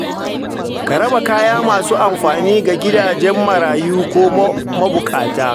Ka raba kaya masu amfani ga gidajen marayu ko mabukata.